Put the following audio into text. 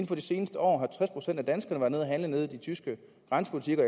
for det seneste år har tres procent af danskerne at handle i de tyske grænse butikker